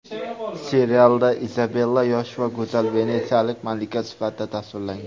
Serialda Izabella yosh va go‘zal venetsiyalik malika sifatida tasvirlangan.